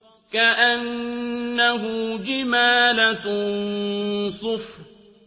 كَأَنَّهُ جِمَالَتٌ صُفْرٌ